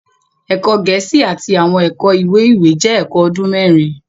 Ẹkọ Gẹẹsi Àti awọn ẹkọ iwe-iwe jẹ ẹkọ ọdun mẹrin